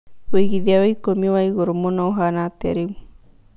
wĩigĩthĩa wa ĩkũmi wa ĩgũrũ mũno ũhana atĩa rĩũ